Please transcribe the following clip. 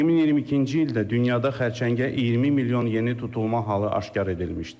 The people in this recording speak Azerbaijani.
2022-ci ildə dünyada xərçəngə 20 milyon yeni tutulma halı aşkar edilmişdir.